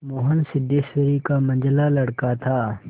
मोहन सिद्धेश्वरी का मंझला लड़का था